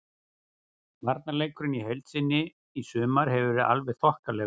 Varnarleikurinn í heild sinni í sumar hefur verið alveg þokkalegur.